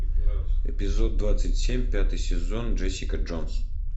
эпизод двадцать семь пятый сезон джессика джонс